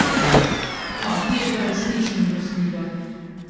Mati je bila resnično milostljiva.